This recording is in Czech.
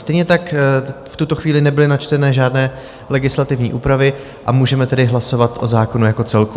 Stejně tak v tuto chvíli nebyly načtené žádné legislativní úpravy, a můžeme tedy hlasovat o zákonu jako celku.